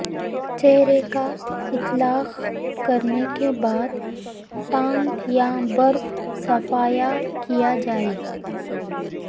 چہرے کا اطلاق کرنے کے بعد ٹانک یا برف صفایا کیا جائے